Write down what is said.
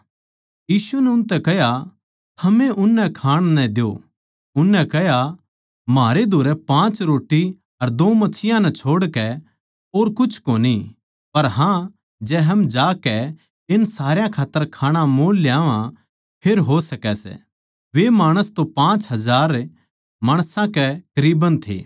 यीशु नै उनतै कह्या थमए उननै खाण नै द्यो उननै कह्या म्हारै धोरै पाँच रोट्टी अर दो मच्छियाँ नै छोड़कै और कुछ कोनी पर हाँ जै हम जाकै इन सारया खात्तर खाणा मोल ल्यावां फेर हो सकै सै वे माणस तो पाँच हजार माणसां कै करीबन थे